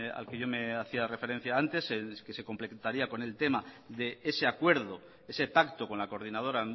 al que yo me hacía referencia antes el que se completaría con el tema de ese acuerdo ese pacto con la coordinadora